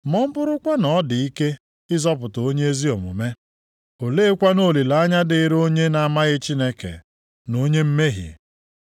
Ma, “Ọ bụrụkwa na ọ dị ike ịzọpụta onye ezi omume, oleekwanụ olileanya dịrị onye na-amaghị Chineke na onye mmehie?” + 4:18 \+xt Ilu 11:31\+xt*